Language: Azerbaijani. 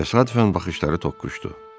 Təsadüfən baxışları toqquşdu.